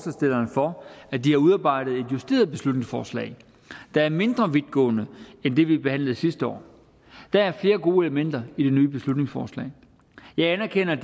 at de har udarbejdet et justeret beslutningsforslag der er mindre vidtgående end det vi behandlede sidste år der er flere gode elementer i det nye beslutningsforslag jeg anerkender